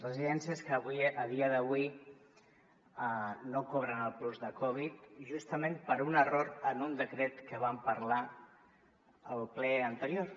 residències que a dia d’avui no cobren el plus de covid justament per un error en un decret que vam parlar al ple anterior